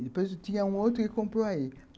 Depois tinha outro que comprou aí.